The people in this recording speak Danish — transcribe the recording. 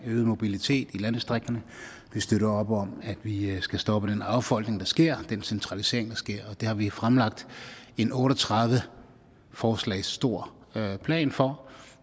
øget mobilitet i landdistrikterne vi støtter op om at vi skal stoppe den affolkning der sker den centralisering der sker det har vi fremlagt en otte og tredive forslag stor plan for